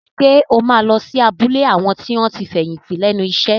Ṣé o máa lọ sí abúlé àwọn tí wọ́n ti fẹ̀yìntì lẹ́nu iṣẹ́?